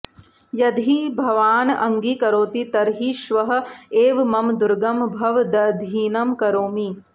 यदि भवान् अङ्गीकरोति तर्हि श्वः एव मम दुर्गं भवदधीनं करोमि